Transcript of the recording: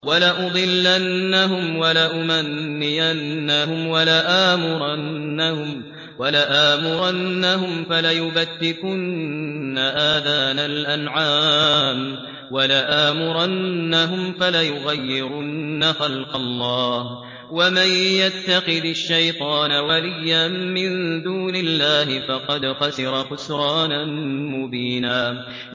وَلَأُضِلَّنَّهُمْ وَلَأُمَنِّيَنَّهُمْ وَلَآمُرَنَّهُمْ فَلَيُبَتِّكُنَّ آذَانَ الْأَنْعَامِ وَلَآمُرَنَّهُمْ فَلَيُغَيِّرُنَّ خَلْقَ اللَّهِ ۚ وَمَن يَتَّخِذِ الشَّيْطَانَ وَلِيًّا مِّن دُونِ اللَّهِ فَقَدْ خَسِرَ خُسْرَانًا مُّبِينًا